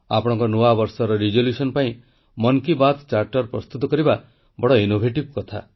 ଆପଣଙ୍କ ନୂଆ ବର୍ଷର ସଂକଳ୍ପ ପାଇଁ ମନ୍ କୀ ବାତ୍ ଚାର୍ଟର ପ୍ରସ୍ତୁତ କରିବା ବଡ଼ ଅଭିନବ କଥା